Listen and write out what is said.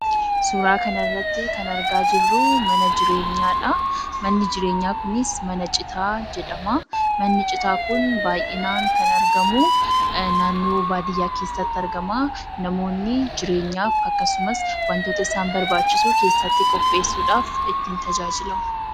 Suura kana irratti kan argaa jirru mana jireenyaadha. Manni jireenyaa Kunis mana citaa jedhama. Manni jireenyaa Kunis baay'inaan baadiyyaa keessatti argama. Namoonni wantoota garagaraa keessatti qopheessuuf ittiin tajaajilamu.